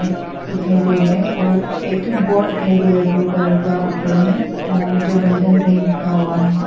दिखाई दे रहे हैं और एक ठो बोर्ड दिखाई दे रहे ब्लू कलर का ऊपर में वहां में जो बंधन बैंक लिखा हुआ है।